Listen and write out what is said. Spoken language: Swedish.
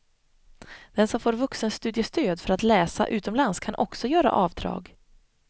Den som får vuxenstudiestöd för att läsa utomlands kan också göra avdrag.